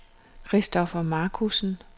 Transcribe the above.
Christoffer Marcussen